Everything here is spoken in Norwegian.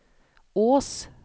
Ås